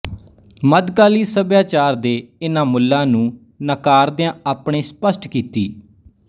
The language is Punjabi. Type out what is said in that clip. ਮੱਧਕਾਲੀ ਸੱਭਿਆਚਾਰ ਦੇ ਇਨ੍ਹਾਂ ਮੁੱਲਾਂ ਨੂੰ ਨਾਕਾਰਦਿਆਂ ਆਪਣੇ ਸਪਸ਼ਟ ਕੀਤੀ